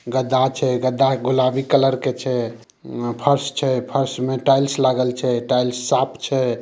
गद्दा छै गद्दा गुलाबी कलर के छै फर्श छै फर्श में टाइल्स लागल छै टाइल्स साफ छै।